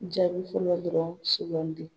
Jaabi fɔlɔ dɔrɔn sugandi